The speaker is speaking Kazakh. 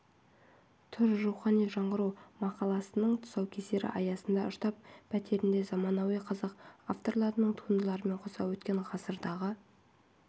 тұр рухани жаңғыру мақаласының тұсаукесері аясында штаб пәтерінде заманауи қазақ авторларының туындыларымен қоса өткен ғасырдағы